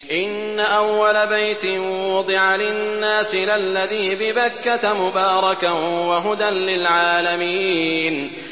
إِنَّ أَوَّلَ بَيْتٍ وُضِعَ لِلنَّاسِ لَلَّذِي بِبَكَّةَ مُبَارَكًا وَهُدًى لِّلْعَالَمِينَ